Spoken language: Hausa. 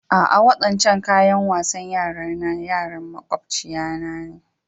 A'a, waɗancan kayan wasan yara nà yaran maƙwabcina ne.